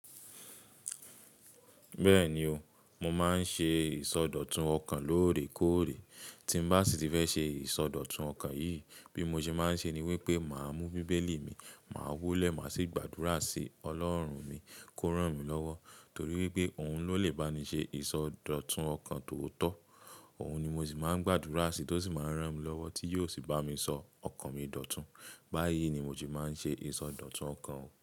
Bẹ́ẹ̀ni o, mo máa ń ṣe ìsọdọ̀tun ọkàn lóòrèkóòrè. Tí n bá sì ti fẹ́ ṣe ìsọdọ̀tun ọkàn yìí bí mo ṣe máa ń ṣe ni wípé, màá mú bíbélì mi, màá wólẹ̀, màá sì gbàdúrà sí Ọlọ́run mi kó rán mi lọ́wọ́ torí pé òun ló lè bá mi ṣe ìsọdọ̀tun ọkàn too tọ́. Òun ni mo sì máa ń gbàdúrà sí, tó sì máa ń rán mi lọ́wọ́ tí yóò sì bá mi sọ ọkàn mi dòtún. Bá yìí ni mo se máa ń ṣe ìsọdọ̀tun ọkàn.